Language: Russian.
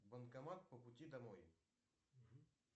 банкомат по пути домой